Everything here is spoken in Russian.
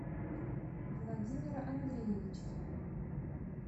владимира андреевича